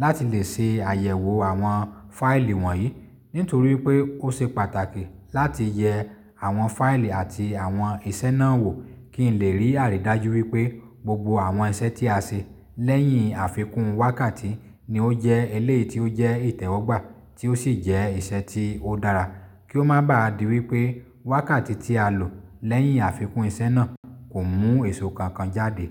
láti lè ṣe àyẹ̀wò àwọn fáìlì wọ̀nyí. Nítorí pé ó ṣe pàtàkì láti yẹ àwọn fáìlì àti àwọn ìṣe náà wò kí n lè rí àrídájú wípé gbogbo àwọn iṣẹ́ tí a ṣe lẹ́yìn àfikún wákàtí ni ó jẹ́ eléyii ó jẹ́ ìtẹ́wọ́gbà tí ó sì jẹ́ ìṣe tí ó dára kí ó má bá di wípé wákàtí tí a lò lẹ́yìn àfikún iṣẹ́ náà kò mú èso kankan jáde.